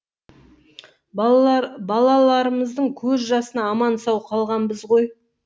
балаларымыздың көз жасына аман сау қалғанбыз ғой